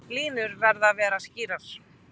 Línur verði að vera skýrar